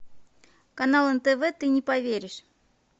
канал нтв ты не поверишь